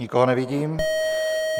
Nikoho nevidím.